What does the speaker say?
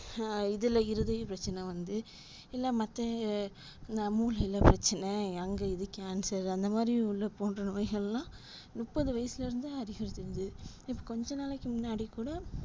ஆஹ் இதுல இருதய பிரச்சன வந்து இல்ல மத்த மூளைல பிரச்சன அங்க இது cancer அந்தமாறி உள்ள போன்றவைகலாம் முப்பது வயசுல இருந்து அதிகரிக்குது இப்போ கொஞ்ச நாளைக்கு முன்னாடி கூட